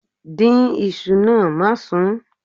Dín iṣu náà, má sún.